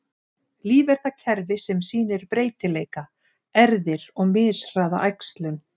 Líf er það kerfi sem sýnir breytileika, erfðir, og mishraða æxlun.